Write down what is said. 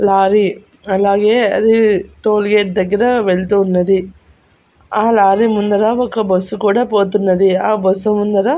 lorry అలాగే అది toll gate దగ్గర వెళ్తూ ఉన్నది ఆ లారీ ముందర ఒక బస్సు కూడా పోతున్నది ఆ బస్సు ముందర --